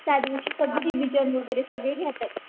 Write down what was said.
त्यादिवशी सगळी घेतात.